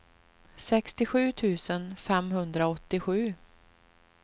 sextiosju tusen femhundraåttiosju